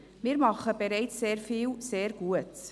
Wir machen bereits sehr vieles sehr gut.